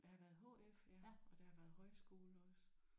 Der har været HF ja og der har været højskole også